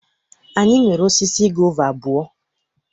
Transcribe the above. Anyị nwere osisi gova abụọ.